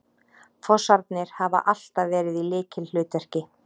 Fossarnir hafa alltaf verið í lykilhlutverki